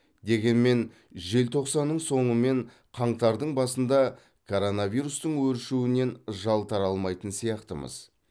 дегенмен желтоқсанның соңы мен қаңтардың басында коронавирустың өршуінен жалтара алмайтын сияқтымыз